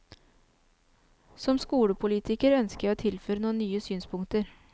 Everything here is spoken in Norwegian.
Som skolepolitiker ønsker jeg å tilføre noen nye synspunkter.